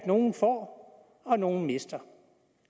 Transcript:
nogle får og nogle mister